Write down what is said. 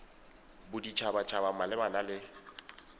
bodit habat haba malebana le